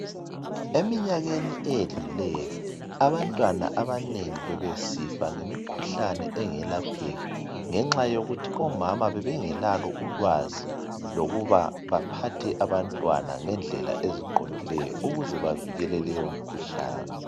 Emnyakeni edluleyo abantwana abanengi bebesifa ngemikhuhlane engalapheki ngenxa yokuthi omama bebengelalo ulwazi lokuba baphathe abantwana ngedlela eziqondileyo ukuze bevikele leyomkhuhlane.